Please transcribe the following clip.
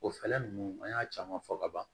O fɛlɛ ninnu an y'a caman fɔ ka ban